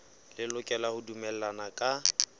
le lokela ho dumellana ka